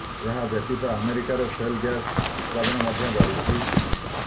ଏହା ବ୍ୟତୀତ ଆମେରିକାରେ ସେଲ୍ ଗ୍ୟାସ୍ ଉତ୍ପାଦନ ମଧ୍ୟ ବଢ଼ିଛି